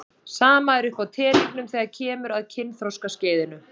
Sama er uppi á teningnum þegar kemur að kynþroskaskeiðinu.